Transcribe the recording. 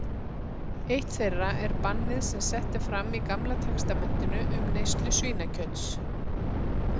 Eitt þeirra er bannið sem sett er fram í Gamla testamentinu um neyslu svínakjöts.